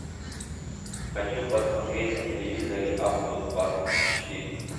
хочу посмотреть на телевизоре авто двадцать четыре